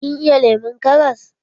Kin iya lemon karas?